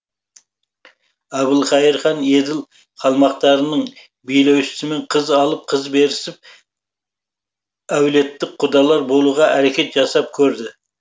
әбілқайыр хан еділ қалмақтарының билеушісіімен қыз алып қыз берісіп әулеттік құдалар болуға әрекет жасап көрді